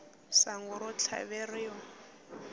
sangu ro tlhaveriwa